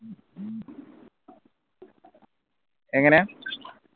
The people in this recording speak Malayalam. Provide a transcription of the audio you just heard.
എങ്ങനെ